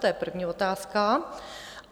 To je první otázka.